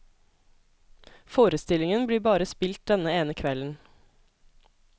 Forestillingen blir bare spilt denne ene kvelden.